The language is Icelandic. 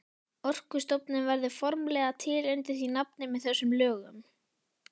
Orkustofnun verður formlega til undir því nafni með þessum lögum.